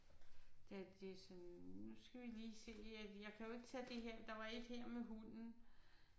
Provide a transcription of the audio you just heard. Da det er sådan nu skal vi lige se jeg kan jo ikke tage det her der var et her med hunden